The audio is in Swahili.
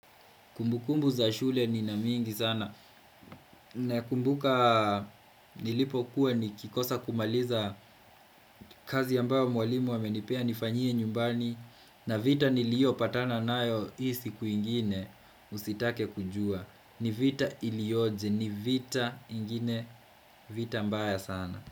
Kumbukumbu za shule nina mingi sana Nakumbuka nilipo kuwa nikikosa kumaliza kazi ambayo mwalimu amenipea nifanyie nyumbani na vita niliyopatana nayo hii sikuingine usitake kujua ni vita iliyoje, ni vita ingine, vita mbaya sana.